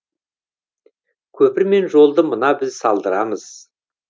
көпір мен жолды мына біз салдырамыз